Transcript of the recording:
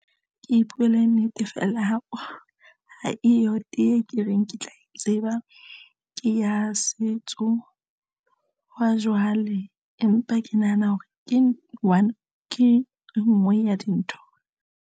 Ke ipuele nnete, feela ha eyo tee ke reng ke tla e tseba ke ya setso hwa jwale empa ke nahana hore ke one ke enngwe ya dintho.